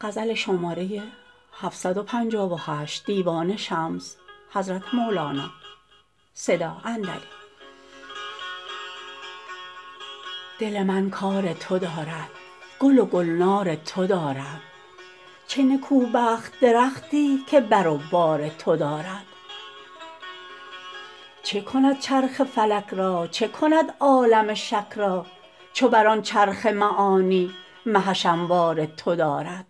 دل من کار تو دارد گل و گلنار تو دارد چه نکوبخت درختی که بر و بار تو دارد چه کند چرخ فلک را چه کند عالم شک را چو بر آن چرخ معانی مهش انوار تو دارد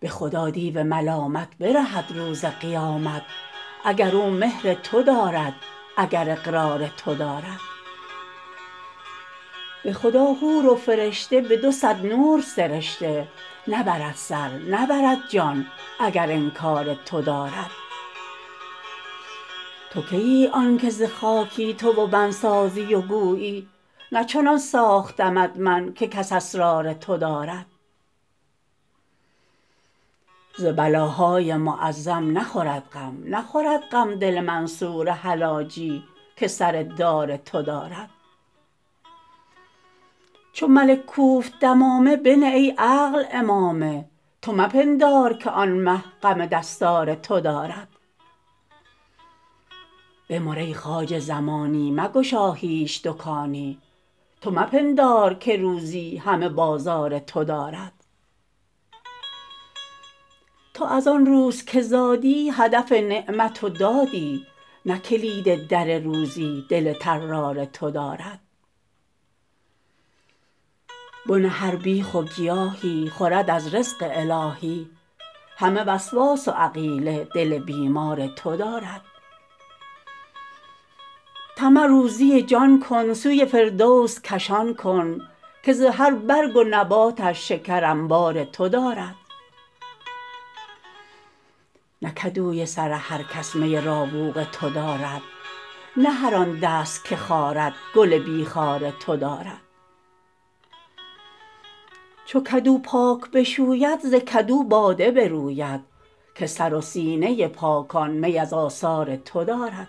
به خدا دیو ملامت برهد روز قیامت اگر او مهر تو دارد اگر اقرار تو دارد به خدا حور و فرشته به دو صد نور سرشته نبرد سر نبرد جان اگر انکار تو دارد تو کیی آنک ز خاکی تو و من سازی و گویی نه چنان ساختمت من که کس اسرار تو دارد ز بلاهای معظم نخورد غم نخورد غم دل منصور حلاجی که سر دار تو دارد چو ملک کوفت دمامه بنه ای عقل عمامه تو مپندار که آن مه غم دستار تو دارد بمر ای خواجه زمانی مگشا هیچ دکانی تو مپندار که روزی همه بازار تو دارد تو از آن روز که زادی هدف نعمت و دادی نه کلید در روزی دل طرار تو دارد بن هر بیخ و گیاهی خورد از رزق الهی همه وسواس و عقیله دل بیمار تو دارد طمع روزی جان کن سوی فردوس کشان کن که ز هر برگ و نباتش شکر انبار تو دارد نه کدوی سر هر کس می راوق تو دارد نه هر آن دست که خارد گل بی خار تو دارد چو کدو پاک بشوید ز کدو باده بروید که سر و سینه پاکان می از آثار تو دارد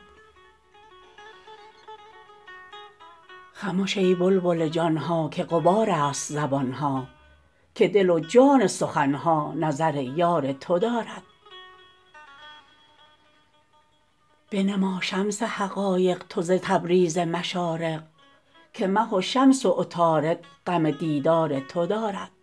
خمش ای بلبل جان ها که غبارست زبان ها که دل و جان سخن ها نظر یار تو دارد بنما شمس حقایق تو ز تبریز مشارق که مه و شمس و عطارد غم دیدار تو دارد